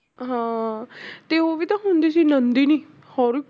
ਹਾਂ ਤੇ ਉਹ ਵੀ ਤਾਂ ਹੁੰਦੀ ਸੀ ਨੰਦਨੀ